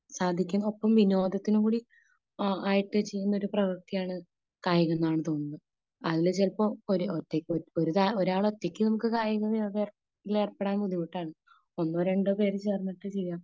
സാധിക്കും ഒപ്പം വിനോദത്തിനും കൂടി ആയിട്ട് ചെയ്യുന്ന ഒരു പ്രവൃത്തിയാണ് കായികം എന്നാണ് തോന്നുന്നത് . അല്ല ചിലപ്പോ ഒരാള് ഒറ്റയ്ക്ക് നമുക്ക് കായിക വ്യായാ ഏർപ്പെടാൻ ബുദ്ധിമുട്ടാണ് . ഒന്നോ രണ്ടോ പേ ചേർന്നിട്ട് ചെയ്യാം